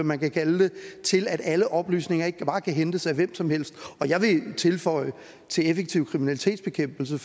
man kan kalde det til at alle oplysninger ikke bare kan hentes af hvem som helst og jeg vil tilføje til effektiv kriminalitetsbekæmpelse